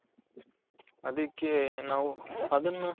ಅದಿಕ್ಕೆ ನಾವು ಅದುನ್ನ